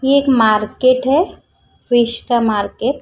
ये एक मार्केट है फिश का मार्केट --